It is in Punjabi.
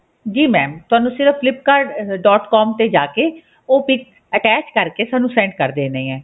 ਜੀ mam ਤੁਹਾਨੂੰ ਸਿਰਫ਼ flipkart.com ਤੇ ਜਾਕੇ ਉਹ PIC attach ਕਰਕੇ ਸਾਨੂੰ send ਕਰ ਦੇਣੀ ਹੈ